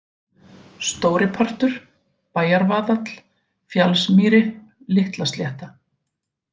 Stóripartur, Bæjarvaðall, Fjallsmýri, Litlaslétta